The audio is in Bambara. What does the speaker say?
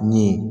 Ni